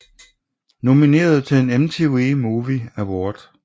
Nomineret til en MTV Movie Award